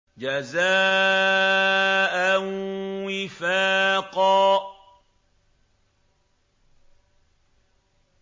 جَزَاءً وِفَاقًا